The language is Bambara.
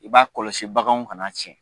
U b'a kɔlɔsi baganw kan'a tiɲɛ.